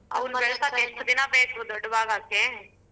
ಎಷ್ಟು ದಿನಾ ಬೇಕು ದೊಡ್ವಾಗಕ್ಕೆ.ಆಗೋಕೆ ಕಡಿಯೋದ ಒಂದ ನಿಮಿಷ ಆಗಲಾ.